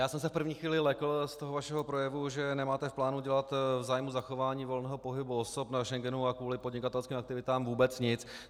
Já jsem se v první chvíli lekl z toho vašeho projevu, že nemáte v plánu dělat v zájmu zachování volného pohybu osob na Schengenu a kvůli podnikatelským aktivitám vůbec nic.